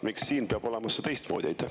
Miks siin peab see olema teistmoodi?